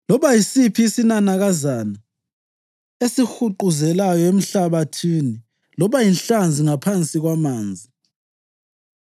loba yisiphi isinanakazana esihuquzelayo emhlabathini loba yinhlanzi ngaphansi kwamanzi.